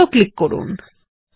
বৃত্ত ক্লিক করুন